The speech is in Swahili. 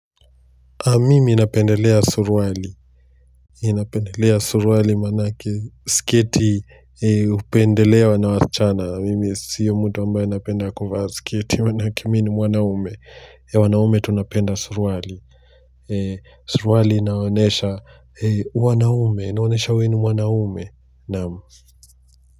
Mimi napendelea surwali inapendelea surwali manake sketi upendelewa na waschana mimi siyo mtu ambayo napenda kuvaa sketi manake mi ni mwanaume wanaume tunapenda surwali surwali inaonesha wanaume inaonesha weni mwanaume naam.